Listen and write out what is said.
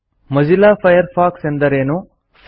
Mozilla Firefox ಎಂದರೇನು160